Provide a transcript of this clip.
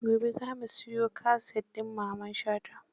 Gobe za mu siyo kaset din Mamman Shata.